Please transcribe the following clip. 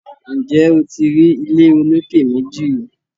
Ǹjẹ́ o ti rí ilé olókè méjì rìí